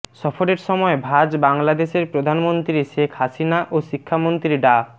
সফরের সময় ভাজ বাংলাদেশের প্রধানমন্ত্রী শেখ হাসিনা ও শিক্ষামন্ত্রী ডা